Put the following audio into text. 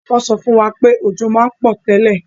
Wo so fún wa pé òjò ma n pò tẹ́lẹ̀